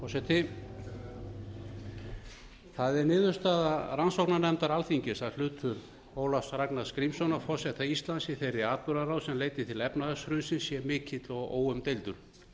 forseti það er niðurstaða rannsóknarnefndar alþingis að hlutur ólafs ragnars grímssonar forseta íslands í þeirri atburðarás sem leiddi til efnahagshrunsins sé mikill og óumdeildur